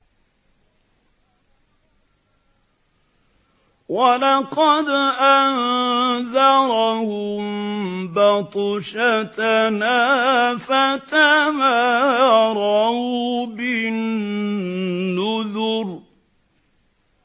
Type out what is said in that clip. وَلَقَدْ أَنذَرَهُم بَطْشَتَنَا فَتَمَارَوْا بِالنُّذُرِ